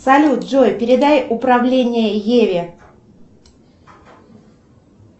салют джой передай управление еве